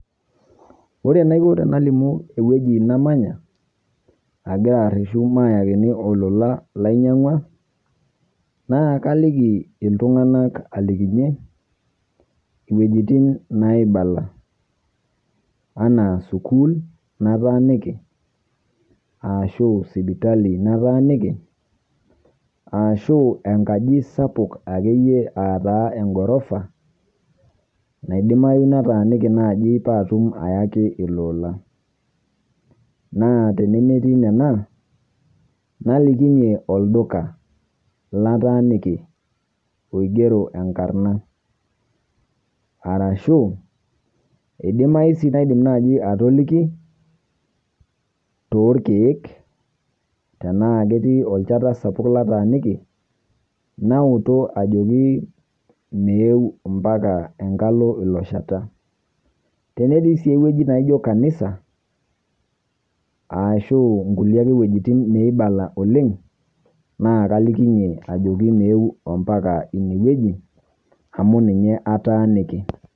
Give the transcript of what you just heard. Ore naikoo tanalimu ewueji namanyaa agira arishuu maeakini olola lainyeng'ua naa kaliiki ltung'anak alikinyie wuejitin naibalaa ana sukuul nataaniki, ashu sipitali nataaniki, ashu enkaaji sapuk ake iyee ataa egorofa naidimayu nataaniki naaji paa atuum ayaaki ilola. Naa tenemeeti nena naliikinye olduka lataaniki oing'ero enkaarina arashu eidimai sii naidiim najii atolikii to irkiek tana ketii olchaata sapuk lataaniki naotuu ajoki meeu mpaaka enkaalo lo sheeta. Tenetii sii wueji naijoo kanisa arashu nkulee ake wuejitin neibala oleng naa kalikinye ajoki meeu ompakaa enia wueji amu ninye ataaniki.